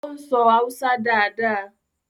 o ń so Hausa dá dá.